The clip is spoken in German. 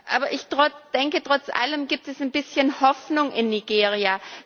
Aber ich denke, trotz allem gibt es ein bisschen Hoffnung in Nigeria.